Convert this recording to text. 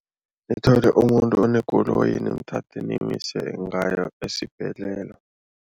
Nithole umuntu onekoloyi nimthathe nimise ngayo esibhedlela.